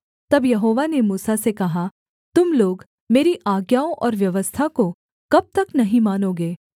तब यहोवा ने मूसा से कहा तुम लोग मेरी आज्ञाओं और व्यवस्था को कब तक नहीं मानोगे